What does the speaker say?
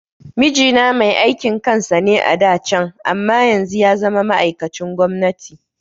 Mijina mai aikin kansa ne a da can amma yanzu yazama ma'aikacin gwamnati